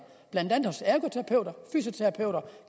blandt andet hos ergoterapeuter fysioterapeuter